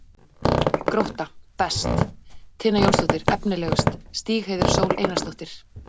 Grótta: Best: Tinna Jónsdóttir Efnilegust: Stígheiður Sól Einarsdóttir